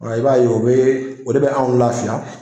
I b'a ye o bɛ o de bɛ anw lafiya